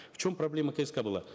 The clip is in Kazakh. в чем проблема кск была